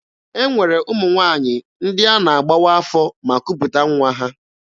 E nwere ụmụ nwaanyị ndị a na-agbawa afọ ma kuputa nwa ha.